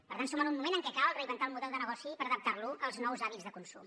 per tant som en un moment en què cal reinventar el model de negoci per adaptar lo als nous hàbits de consum